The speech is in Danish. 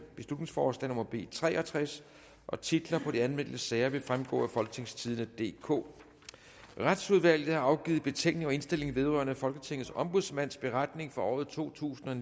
beslutningsforslag nummer b tre og tres titler på de anmeldte sager vil fremgå af folketingstidende DK retsudvalget har afgivet betænkning og indstilling vedrørende folketingets ombudsmands beretning for året totusinde